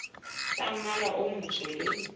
tsa mmala o motsho le